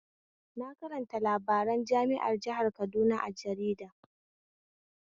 Na karanta labaran jami'ar jihar Kaduna a jarida